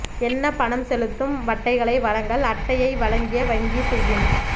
என்ன பணம் செலுத்தும் அட்டைகளை வழங்கல் அட்டையை வழங்கிய வங்கி செய்யும்